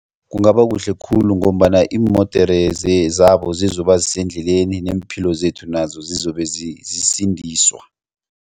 Kungaba kuhle khulu ngombana iimodere zabo zizoba zisendleleni nemphilo zethu nazo zizobe zisindiswa.